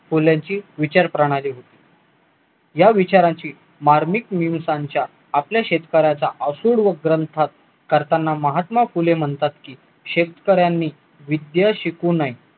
फुल्यांची विचार प्रणाली होती या विचारांची मार्मिक निळसांच्या आपल्या शेतकऱ्याचा आसूड व ग्रंथ करताना महात्मा फुले म्हणतात की शेतकऱ्यांनी विद्या शिकू नये